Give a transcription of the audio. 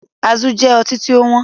Azul jẹ ọtí tí ó wọn